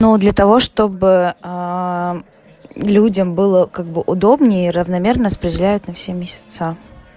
но для того чтобы аа людям было как бы удобнее и равномерно распределяют на все месяца